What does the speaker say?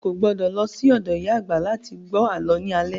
O kò gbọdọ̀ lọ sí ọ̀dọ̀ ìyá àgbà láti gbọ́ àlọ́ ní alẹ́